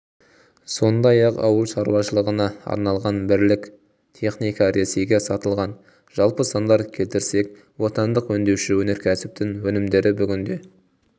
сондай-ақ ауыл шаруашылығына арналған бірлік теіника ресейге сатылған жалпы сандар келтірсек отандық өңдеуші өнеркәсіптің өнімдері бүгінде